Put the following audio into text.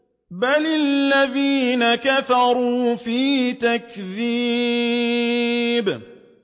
بَلِ الَّذِينَ كَفَرُوا فِي تَكْذِيبٍ